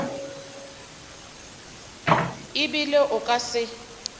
e bile o ka se